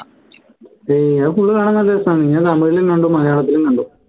ഏർ അത് full കാണാൻ നല്ല രസാ ഞാൻ തമിഴിലും കണ്ടു മലയാളത്തിലും കണ്ടു